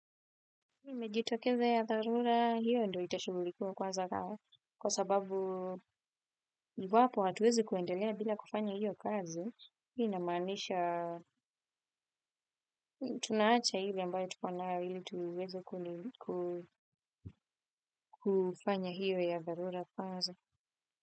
Imejitokeza ya dharura hiyo ndo itashubulikuwa kwaza kwa sababu iwapo hatuwezi kuendelea bila kufanya hiyo kazo inamanisha tunaacha ile ambayo tuko nayo hili tuweze kufanya hiyo ya dharura kwanza.